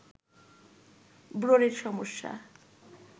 ব্রণের সমস্যা